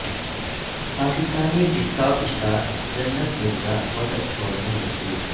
Pakistani tiktok star Jannat Mirza وطن چھوڑنے مجبور